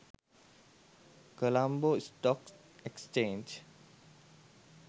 colombo stock exchange